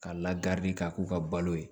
Ka lakari ka k'u ka balo ye